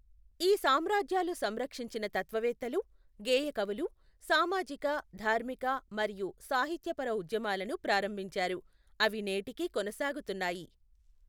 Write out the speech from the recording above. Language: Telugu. ఈ సామ్రాజ్యాలు సంరక్షించిన తత్వవేత్తలు, గేయకవులు సామాజిక ధార్మిక మరియు సాహిత్యపర ఉద్యమాలను ప్రారంభించారు, అవి నేటికీ కొనసాగుతున్నాయి.